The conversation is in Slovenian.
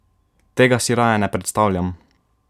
Tega si raje ne predstavljam!